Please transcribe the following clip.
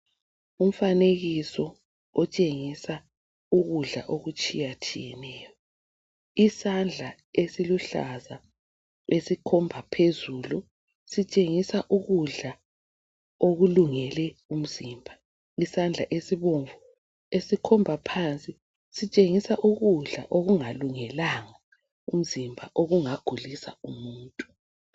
Umfanekiso otshengisa ukudla okutshiyatshiyeneyo. Isandla esiluhlaza esikhomba phezulu, sitshengisa ukudla okulungele umzimba. Isandla esibomvu esikhomba phansi sitshengisa ukudla okungalungelanga umzimba, okungagulisa umuntu.